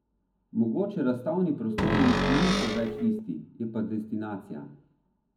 Mogoče razstavni prostori niso več isti, je pa destinacija.